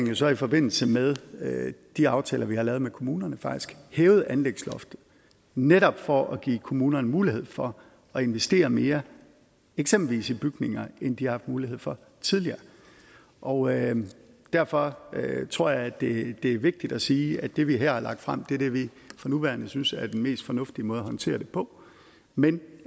jo så i forbindelse med med de aftaler vi har lavet med kommunerne faktisk hævet anlægsloftet netop for at give kommunerne mulighed for at investere mere i eksempelvis bygninger end de har haft mulighed for tidligere og derfor tror jeg at det er vigtigt at sige at det vi her har lagt frem er det vi for nuværende synes er den mest fornuftige måde at håndtere det på men